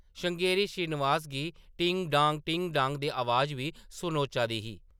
श्रृंगेरी श्रीनिवास गी टिंग डांग टिंग डांग दी अवाज बी सनोचा दी ही ।